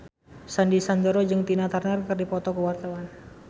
Sandy Sandoro jeung Tina Turner keur dipoto ku wartawan